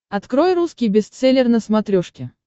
открой русский бестселлер на смотрешке